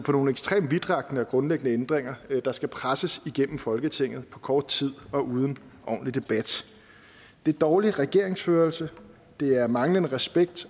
nogle ekstremt vidtrækkende og grundlæggende ændringer der skal presses igennem folketinget på kort tid og uden ordentlig debat det er dårlig regeringsførelse det er manglende respekt